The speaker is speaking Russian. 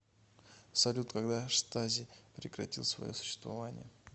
салют когда штази прекратил свое существование